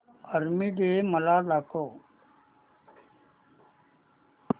army day मला दाखव